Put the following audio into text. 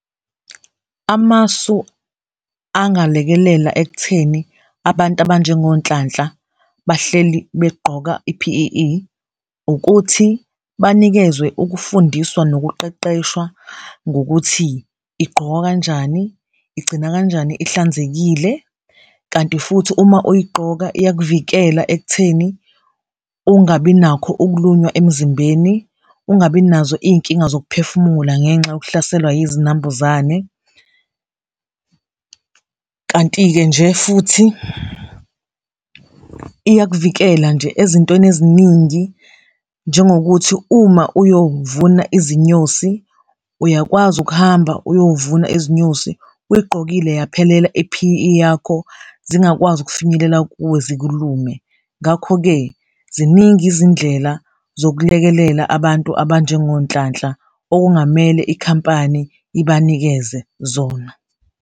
Amasu angalekelela ekutheni abantu abanjengoNhlanhla bahleli begqoka i-P_E_E ukuthi banikezwe ukufundiswa nokuqeqeshwa ngokuthi igqokwa kanjani, igcina kanjani ihlanzekile kanti futhi uma uyigqoka iyakuvikela ekutheni ungabi nakho ukulunywa emzimbeni, ungabi nazo iy'nkinga zokuphefumula ngenxa yokuhlaselwa izinambuzane. Kanti-ke nje futhi iyakuvikela nje ezintweni eziningi njengokuthi uma uyovuna izinyosi uyakwazi ukuhamba uyovuna izinyosi uyigqokile yaphelela i-P_E_E yakho, zingakwazi ukufinyelela kuwe zikhulume. Ngakho-ke ziningi izindlela zokulekelela abantu abanjengoNhlanhla okungamele ikhampani ibanikeze zona.